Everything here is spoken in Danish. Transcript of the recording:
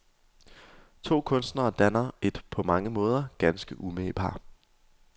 To kunstnere danner et på mange måder ganske umage par.